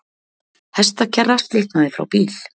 Hestakerra slitnaði frá bíl